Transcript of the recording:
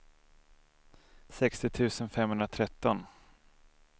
sextio tusen femhundratretton